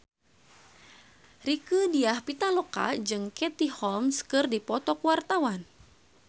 Rieke Diah Pitaloka jeung Katie Holmes keur dipoto ku wartawan